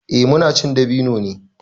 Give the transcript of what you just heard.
Eh muna cin dabino ne.